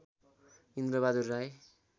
Indrabahadur Rai